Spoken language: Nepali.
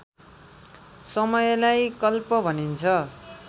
समयलाई कल्प भनिन्छ